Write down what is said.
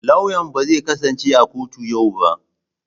Lauyan ba zai kasance a kotu a yau ba.